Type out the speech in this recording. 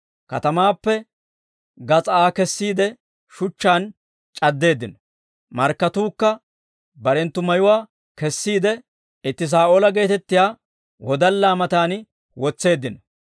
Katamaappe gas'aa Aa kessiide, shuchchaan c'addeeddino. Markkatuukka barenttu mayuwaa kessiide, itti Saa'oola geetettiyaa wodallaa matan wotseeddino.